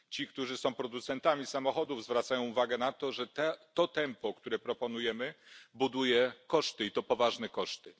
Ci, którzy są producentami samochodów, zwracają uwagę na to, że tempo, które proponujemy, generuje koszty, i to poważne koszty.